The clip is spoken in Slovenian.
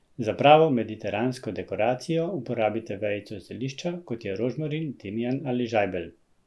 Za pravo mediteransko dekoracijo uporabite vejico zelišča, kot je rožmarin, timijan ali žajbelj.